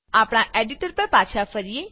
આપણા એડીટર પર પાછા ફરીએ